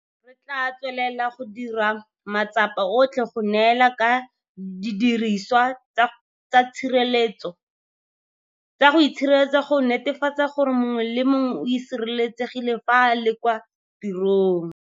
Re tla tswelela go dira matsapa otlhe go neelana ka didiriswa tsa itshireletso go netefatsa gore mongwe le mongwe o sireletsegile fa a le kwa tirong.